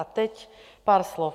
A teď pár slov.